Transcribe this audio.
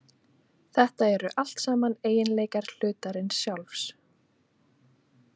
Þetta eru allt saman eiginleikar hlutarins sjálfs.